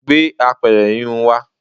gbé apẹ̀rẹ̀ híhun wa